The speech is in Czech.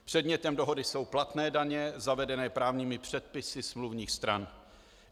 Předmětem dohody jsou platné daně zavedené právními předpisy smluvních stran.